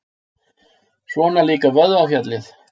Svona líka vöðvafjalli!